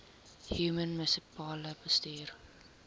human munisipale bestuurder